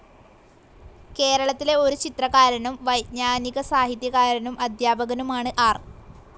കേരളത്തിലെ ഒരു ചിത്രകാരനും വൈജ്ഞാനികസാഹിത്യകാരനും അദ്ധ്യാപകനുമാണ് ആർ.